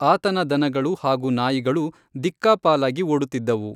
ಆತನ ದನಗಳು ಹಾಗೂ ನಾಯಿಗಳು ದಿಕ್ಕಾಪಾಲಾಗಿ ಓಡುತಿದ್ದವು.